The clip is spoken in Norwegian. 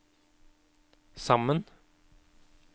sammen